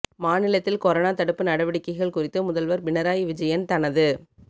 மாநிலத்தில் கொரோனா தடுப்பு நடவடிக்கைகள் குறித்து முதல்வர் பினராயி விஜயன் தனது